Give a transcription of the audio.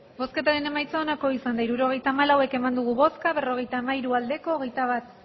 hirurogeita hamalau eman dugu bozka berrogeita hamairu bai hogeita bat